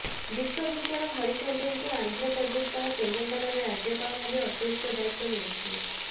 ବିଶ୍ୱଭୂଷଣ ହରିଚନ୍ଦନଙ୍କୁ ଆନ୍ଧ୍ରପ୍ରଦେଶ ସହ ତେଲେଙ୍ଗାନାର ରାଜ୍ୟପାଳ ଭାବେ ଅତିରିକ୍ତ ଦାୟିତ୍ୱ ମିଳିଛି